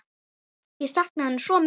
Ég sakna hennar svo mikið.